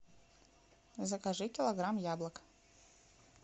закажи килограмм яблок